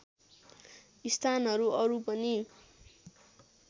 स्थानहरू अरू पनि